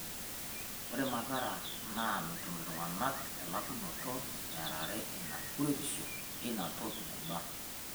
Ore mathara naa metum iltungana elakunoto earare ina kuretisho eina toki naiba.